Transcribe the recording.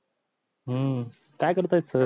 हम्म कायकरत्यात सर